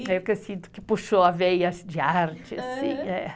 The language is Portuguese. É o que eu sinto que puxou a veia de arte.